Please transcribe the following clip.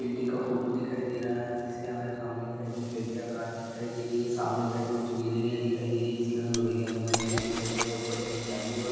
Building का photo दिखाई दे रहा है। जिसके हमें सामने की साइड खिड़कियां कांच दिखाई दे रही हैं। सामने के साइड पे कुछ गिलीरियाँ दिखाई दे रही हैं। जिसके अंदर लोहे के एंगल लगे दिखाई दे रहे हैं। ऊपर की साइड जाली व --